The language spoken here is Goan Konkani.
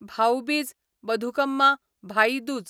भाऊ बीज बथुकम्मा भाई दूज